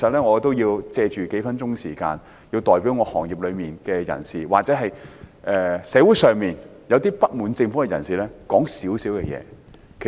我要在數分鐘時間，代表漁農業界人士或社會上一些不滿政府的人士提出一些意見。